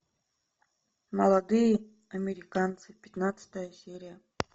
молодые американцы пятнадцатая серия